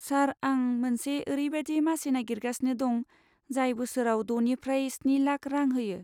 सार, आं मोनसे ओरैबादि मासि नागिरगासिनो दं जाय बोसोराव द'निफ्राय स्नि लाख रां होयो।